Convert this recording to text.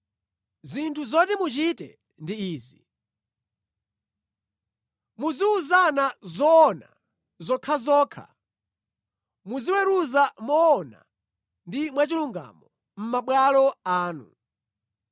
Zinthu zoti muchite ndi izi: Muziwuzana zoona zokhazokha, muziweruza moona ndi mwachilungamo mʼmabwalo anu;